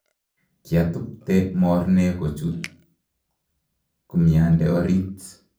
koatubte morne kochut kumyande orit